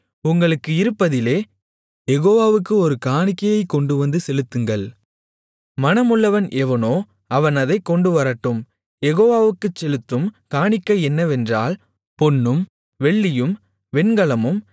உங்களுக்கு இருப்பதிலே யெகோவாவுக்கு ஒரு காணிக்கையைக் கொண்டுவந்து செலுத்துங்கள் மனமுள்ளவன் எவனோ அவன் அதைக் கொண்டுவரட்டும் யெகோவாவுக்குச் செலுத்தும் காணிக்கை என்னவென்றால் பொன்னும் வெள்ளியும் வெண்கலமும்